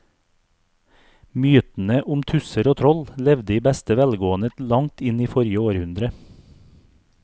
Mytene om tusser og troll levde i beste velgående til langt inn i forrige århundre.